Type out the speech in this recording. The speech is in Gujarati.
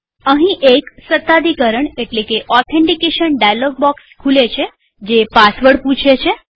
અહીંએક સત્તાધિકરણ એટલે કે ઓથેન્ટીકેશન ડાયલોગ બોક્સ ખુલે છે જે પાસવર્ડ પૂછે છે